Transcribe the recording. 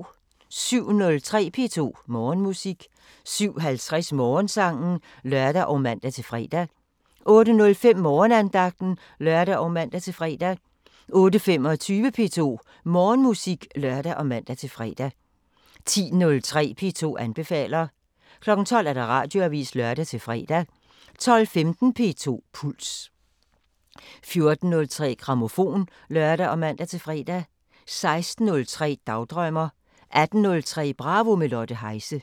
07:03: P2 Morgenmusik 07:50: Morgensangen (lør og man-fre) 08:05: Morgenandagten (lør og man-fre) 08:25: P2 Morgenmusik (lør og man-fre) 10:03: P2 anbefaler 12:00: Radioavisen (lør-fre) 12:15: P2 Puls 14:03: Grammofon (lør og man-fre) 16:03: Dagdrømmer 18:03: Bravo – med Lotte Heise